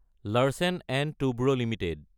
Larsen & Toubro Ltd